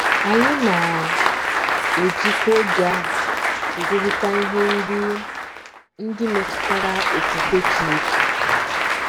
Anyị na - ejikwa oge a ekwurịta ihe ndị ndị metụtara ofufe Chineke.